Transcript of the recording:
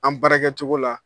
An baara kɛ cogo la